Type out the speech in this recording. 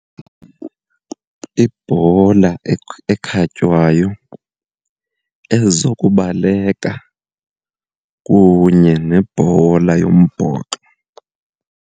Ibhola ekhatywayo, ezokubaleka kunye nebhola yombhoxo.